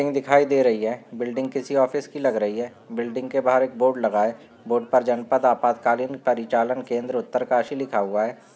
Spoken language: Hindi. बिल्डिंग दिखाई दे रही है बिल्डिंग किसी ऑफिस की लग रही है बिल्डिग के बाहर एक बोर्ड लगा है बोर्ड पर जनपद आपातकालीन परिचालन केन्द्र उत्तरकाशी लिखा हुआ है।